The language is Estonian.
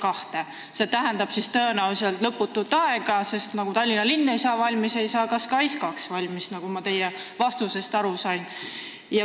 Ja nagu ma teie vastusest aru sain, siis me räägime tõenäoliselt lõputust ajast – nii nagu Tallinna linn ei saa valmis, ei saa ka SKAIS2 valmis.